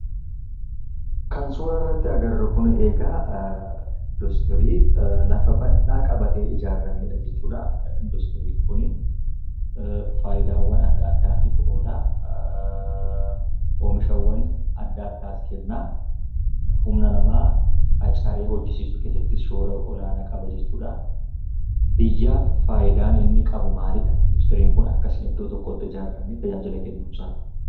Kan suuraa irratti argaa jirru kun industirii lafa baldhaa qabatee ijaaramedha jechuudha. Industiriin kun faayidaalee adda addaatiif oola. Oomishawwan adda addaas kenna. Humna namaa qacaree hojjechiisuu keessattis shoora olaanaa qaba jechuudha. Biyyaaf faayidaan inni kennu maalidha? Industiriin kun akkasitti iddoo tokkotti ijaaramee tajaajila kennuunsaa kun?